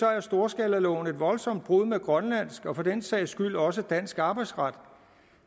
er storskalaloven et voldsomt brud med grønlandsk og for den sags skyld også dansk arbejdsret